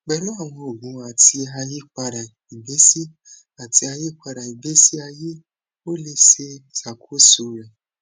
pẹlu awọn oogun ati ayipada igbesi ati ayipada igbesi aye o le ṣakoso rẹ